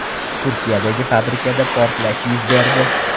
Turkiyadagi fabrikada portlash yuz berdi.